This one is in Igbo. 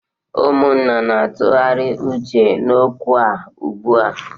Ummuna na-atụgharị uche n'okwu a ugbu a